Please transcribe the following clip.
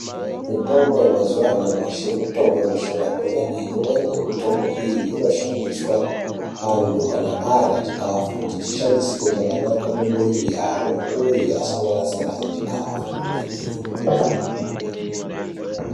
Mitombo ye mazuva anyamashi mitombo ino shanda kwemene imweni ye mutombo iyi ino shandiswa antu kana arya chikafu kuti chi shandisike zvakanaka mu mwiri yavo uye asango rasa rasa chikafu kwemene.